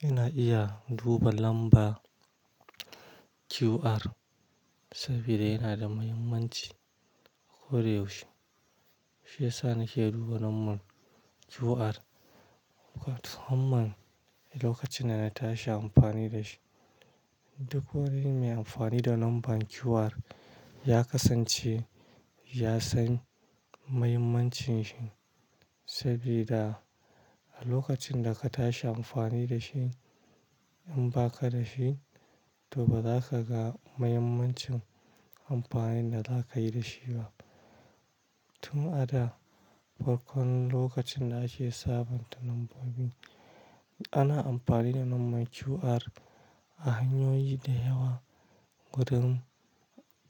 Ina iya duba lambar QR saboda yana da mahimmanci ko da yaushe. Shi yasa nake duba lambar QR lokacin da na tashi amfani da shi. Duk wani mai amfani da lambar QR ya kasance ya san mahimmancin shi saboda a lokacin da ka tashi amfani da shi, in ba ka da shi to ba za ka ga mahimmancin amfanin da za ka yi da shi ba. Tun a da farkon lokacin da ake sabonta lambobin. Ana amfani da lambar QR a hanyoyi da yawa. Gurin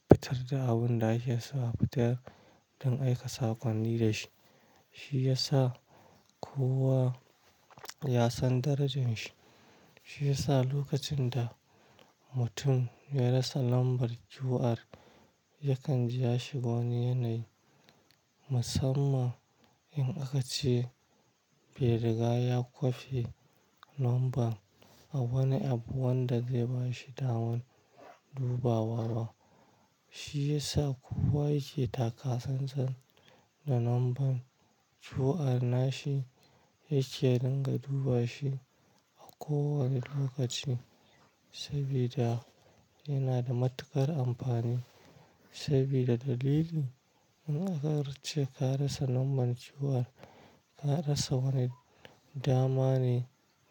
fitar da abin da ake so a fitar don aika sakonni da shi. Shi ya sa kowa ya san darajar shi. Shi ya sa lokacin da mutum ya rasa lambar QR, yakan ja shi wani yanayi. Musamman in aka ce bai riga ya kwafi lambar a wani abu wanda zai bashi daman dubawa ba. Shi ya sa kowa yake taka sassan da lambar QR nashi yake dinga duba shi a kowane lokaci saboda yana da matuƙar amfani. Saboda dalili in aka ce ka rasa lambar QR, ka rasa wani dama ne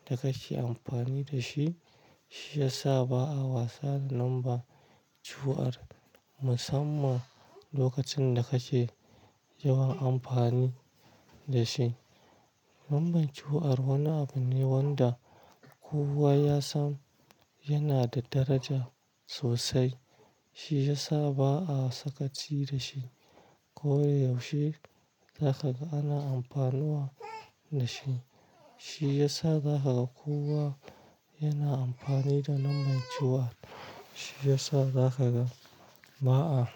da kake amfani da shi. Shi ya sa ba'a wasa da lambar QR musamman lokacin da kake yawan amfani da shi. Lambar QR wani abu ne wanda kowa ya san yana da daraja sosai. Shi ya sa ba'a sakaci da shi ko yaushe za ka ga ana amfanuwa da shi. Shi ya sa za ka ga kowa yana amfani da lambar QR. Shi ya sa za ka ga ba'a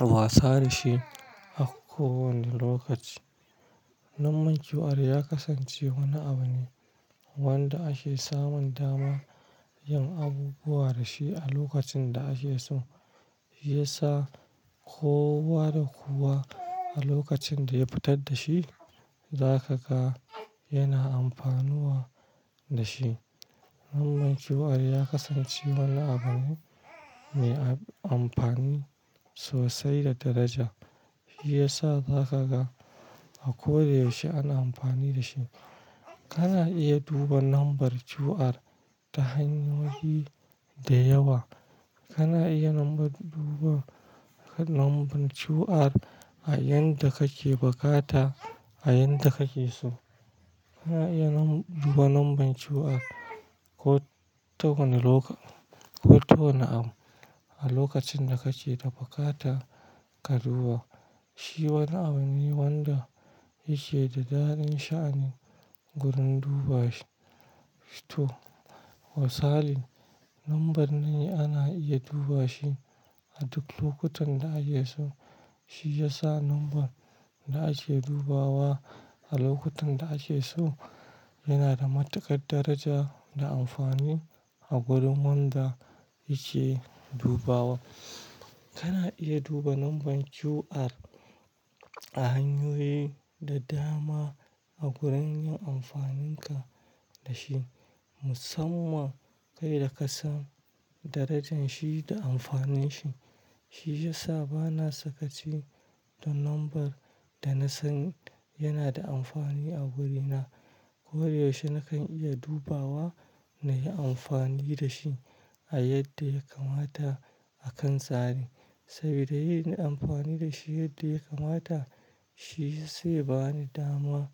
wasa da shi a kowane lokaci. Lambar QR ya kasance wani abu ne wanda ake samun dama yin abubuwa da shi a lokacin da ake so. Shi ya sa kowa da kowa a lokacin da ya fitar da shi, za ka ga yana amfanuwa da shi. Lambar QR ya kasance wani abu ne mai amfani sosai da daraja. Shi ya sa za ka ga a koyaushe ana amfani da shi. Kana iya duba lambar QR ta hanyoyi da yawa. Kana iya duba lambar QR a yanda kake bukata, a yanda kake so. Kana iya duba lambar QR ko ta wani abu a lokacin da kake da buƙata ka duba. Shi wani abu ne wanda yake da daren sha'anin gurin duba shi shi to wasalin lambar ne ana iya duba shi a duk lokutan da ake so. Shi ya sa lambar da ake dubawa a lokutan da ake so yana da matuƙar daraja da amfani a gurin wanda yake dubawa. Kana iya duba lambar QR a hanyoyi da dama a gurin yin amfanin ka da shi. Musamman kai da ka san darajar shi da amfanin shi. Shi ya sa bana sakaci da lambar da na san yana da amfani a wurina. Koyaushe nakan iya dubawa na yi amfani da shi a yadda ya kamata a kan tsari saboda yin amfani da shi yadda ya kamata shi zai bani dama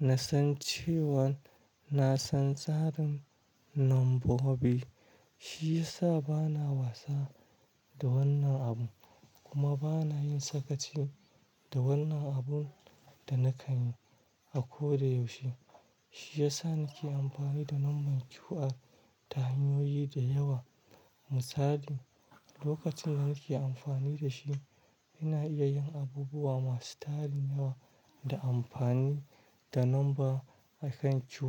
na san cewan na san tsarin lambobi. Shi ya sa bana wasa da wannan abu kuma bana yin sakaci da wannan abun da nakan yi a ko da yaushe. Shi ya sa nake amfani da lambar QR ta hanyoyi da yawa. Misali lokacin da nake amfani da shi, ina iya yin abubuwa masu tarin yawa da amfani da lamba akan QR.